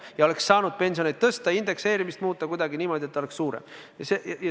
Ja oleks saanud pensioneid tõsta, indekseerimist muuta kuidagi niimoodi, et pension oleks suurem.